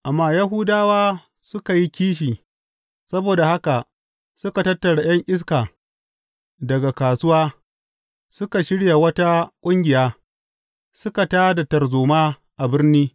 Amma Yahudawa suka yi kishi; saboda haka suka tattara ’yan iska daga kasuwa, suka shirya wata ƙungiya, suka tā da tarzoma a birni.